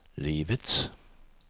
livets